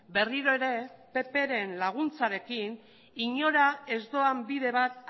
berriro ere ppren laguntzarekin inora ez doan bide bat